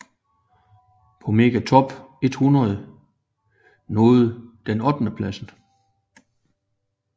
På Mega Top 100 nåede den ottendepladsen